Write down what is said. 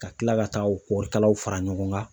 Ka tila ka taa o kɔɔri kalaw fara ɲɔgɔn kan.